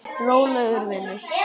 Rólegur vinur!